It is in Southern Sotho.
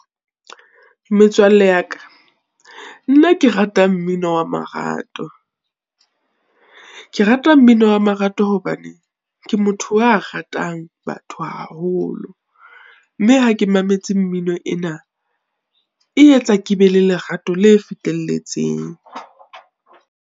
Metswalle ya ka, nna ke rata mmino wa marato. Ke rata mmino wa marato hobane, ke motho a ratang batho haholo, mme ha ke mametse mmino ena, e etsa ke be le lerato le fetelletseng.